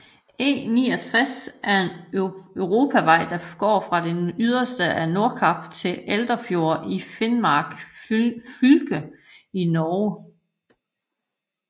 E69 er en europavej der går fra det yderste af Nordkap til Olderfjord i Finnmark fylke i Norge